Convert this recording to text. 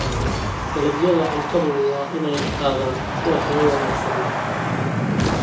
Dalagyada cuntadu waa inay ahaadaan kuwo tayo wanaagsan leh.